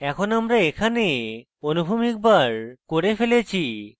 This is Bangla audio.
এখন আমরা এখানে অনুভূমিক bar করে ফেলেছি